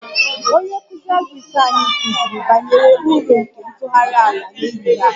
Onye nkụzi agrik anyị kụziri banyere uru nke ntụgharị ala n'ehihie a